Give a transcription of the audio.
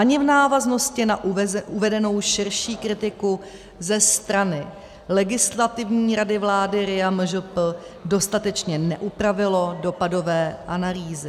Ani v návaznosti na uvedenou širší kritiku ze strany Legislativní rady vlády RIA MŽP dostatečně neupravilo dopadové analýzy.